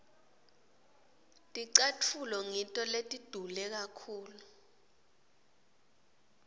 ticatfulo ngito letidule kakhulu